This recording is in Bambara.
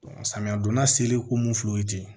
samiya donda seriko mun filɛ o ye ten